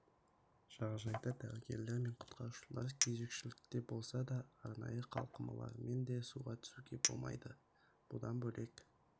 жағажайда дәрігерлер мен құтқарушылар кезекшілікте болса да арнайы қалқымалармен де суға түсуге болмайды бұдан бөлек